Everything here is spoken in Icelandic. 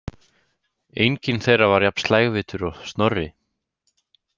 Enginn þeirra var jafn slægvitur og Snorri.